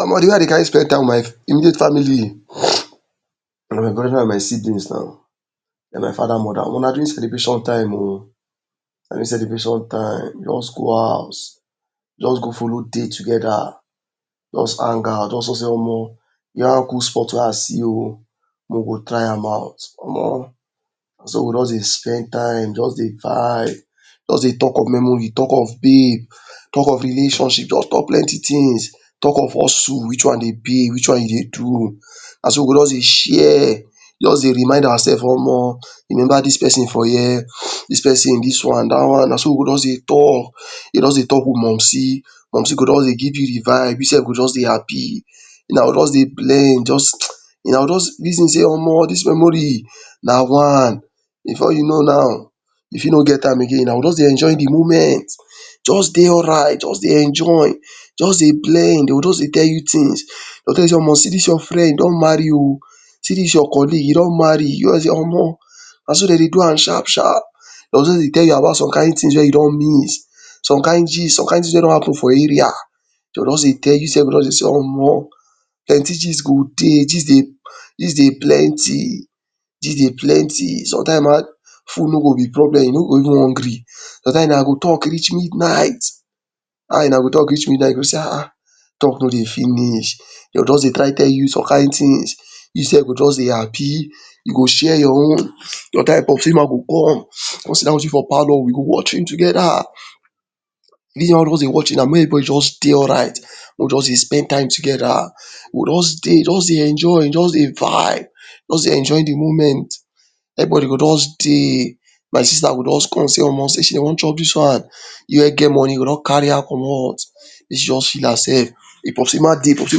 Omo de way I dey carry spend time with my immediate family y brother and my siblings na my father mother na during celebration time oh, during celebration time, we jus go house jus go follow dey together jus hang out, just no sey Omo, one good spot wey I see o, make we go try am out Omo, naso we just dey spend time jus dey vibe, just dey talk of memory, talk of babe, talk of relationship, just talk plenty things talk of hustle, which one dey pay which one dey do, naso we go just dey share, just dey remind our sef Omo, remember dis person for here, dis persin, dis one dat one na so we go jus dey talk, jus dey talk with mumcy, mumcy go just dey give u de vibe, u sef go just dey happy, una go just dey blend, una go jus reason sey Omo dis one no memory na before you know now, u fit no get time again una go just dey enjoy de moment just dey alright, just dey enjoy, just dey blend dem go just dey tell you things, dey tell u sey Omo see dis your friend don marry oh, see dis your colleague hin don marry o, Omo na so dem dey do am sharp sharp, dem go dey tell you about somethings wey you don miss some kind gist some kind gist wey don happen for area, dey go jus dey tell u, u sef go just dey say Omo, plenty gist go dey, gist dey gist dey plenty, gist dey plenty sometimes ma food no go b problem, u no go even hungry, sometimes una go talk reach midnight, una go talk reach midnight una go sey um talk no dey finish dem go try dey tell you some kind things u sef go just dey happy, u go share your own, mumcy ma go come con siddon with u for palour we go watch film Together, make everybody just dey alright, make we just dey spend time together, we go just dey just dey enjoy just dey vibe just dey enjoy de moment, everybody go just dey, my sister go jus come sey Omo she wan chop dis one, u wey get money u go just carry her commot, make she jus feel herself, if popcy ma dey, popcy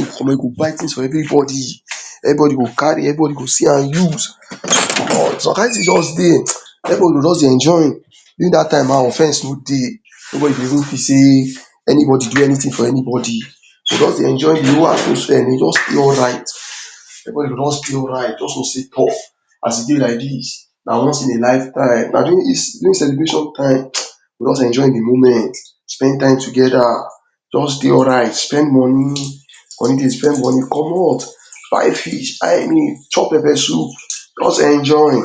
go buy things for everybody, everybody go carry everybody go see am use, some kind things just dey, everybody go jus dey enjoy, during dat thing offense no dey, nobody go feel sey anybody do anything for any body, so just dey enjoy de whole go just dey alright, everybody go just dey alright, just know say Toh as e dey like dis na once in a life time, during celebration time we gatz enjoy de moment spend time together jus dey alright, spend money, commot buy fish chop pepper soup jus enjoy.